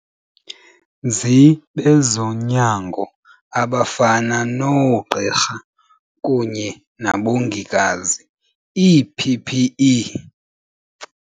nzi bezonyango abafana noogqirha kunye nabongikazi ii-PPE.